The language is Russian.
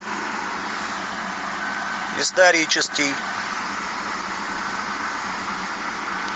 исторический